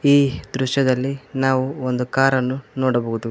ಈ ದೃಶ್ಯದಲ್ಲಿ ನಾವು ಒಂದು ಕಾರನ್ನು ನೋಡಬಹುದು.